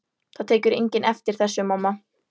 Það tekur enginn eftir þessu, mamma.